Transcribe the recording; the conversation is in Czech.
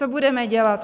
Co budeme dělat?